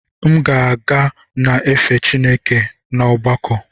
M ga na efe Chineke n’ọgbakọ.